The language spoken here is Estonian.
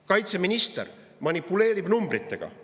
Kaitseminister manipuleerib numbritega.